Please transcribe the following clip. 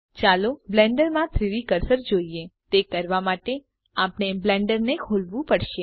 ચાલો બ્લેન્ડર માં 3ડી કર્સર જોઈએ તે કરવા માટે આપણે બ્લેન્ડરને ખોલવું પડશે